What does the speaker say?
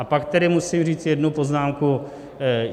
A pak tedy musím říct jednu poznámku.